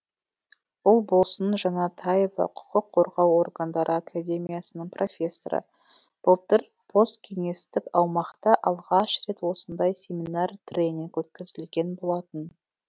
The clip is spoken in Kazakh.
ұлболсын жанатаева құқық қорғау органдары академиясының профессоры былтыр посткеңестік аумақта алғаш рет осындай семинар тренинг өткізілген болатын